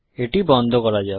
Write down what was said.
এটি বন্ধ করা যাক